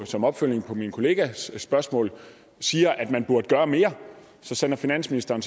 som opfølgning på min kollegas spørgsmål siger at man burde gøre mere så sender finansministeren